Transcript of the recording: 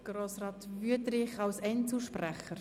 Grossrat Wüthrich als Einzelsprecher.